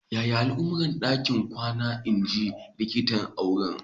Yaya al'amura a ɗakin kwana?" in ji likitan auren.